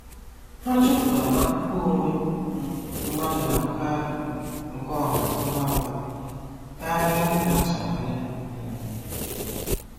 Há chọ̀pụtara na àkụ̀kọ̀ onwe um mmadụ na-abụkarị um nke ọ̀hà ngwa ngwa kárị à ka a tụrụ anya. um